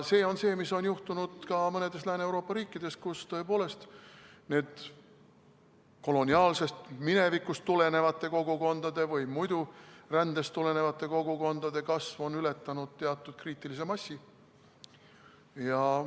See on see, mis on juhtunud ka mõnes Lääne-Euroopa riigis, kus, tõepoolest, koloniaalsest minevikust tulenevate kogukondade või muidu rändest tulenevate kogukondade kasv on ületanud teatud kriitilise massi.